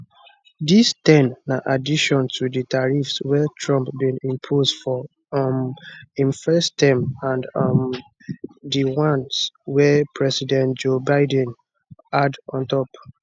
dis ten na addition to di tariffs wey trump bin impose for um im first term and um di ones wey president joe biden add on top